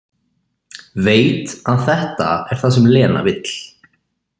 Veit að þetta er það sem Lena vill.